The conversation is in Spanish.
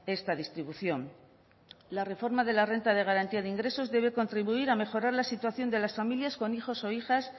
esta distribución la reforma de la renta de garantía de ingresos debe contribuir a mejorar la situación de las familias con hijos o hijas